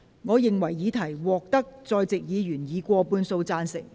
我認為議題獲得在席議員以過半數贊成。